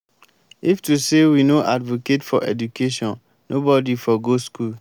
if to say we no advocate for education nobody for go school.